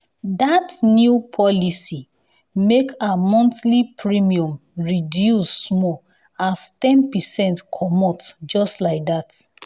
that new policy make her monthly premium reduce small as ten percent comot just like that.